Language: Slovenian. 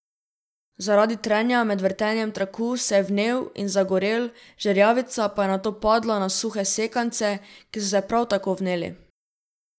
Zaradi trenja med vrtenjem traku se je vnel in zagorel, žerjavica pa je nato padla na suhe sekance, ki so se prav tako vneli.